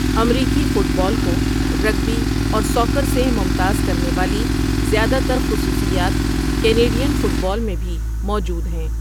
امریکی football کو rugby اور ساکر سے ممتاز کرنے والی زیادہ تر خصوصیات کینیڈین فٹ بال میں بھی موجود ہیں۔